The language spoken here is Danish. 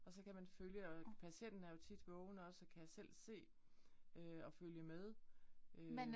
Og så kan man følge og patienten er jo tit vågen også og kan selv se øh og følge med øh